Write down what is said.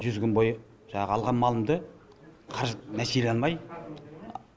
жүз күн бойы жаңағы алған малымды қаражат нәсиелей алмай